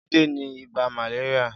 Jide ni ibà màléríà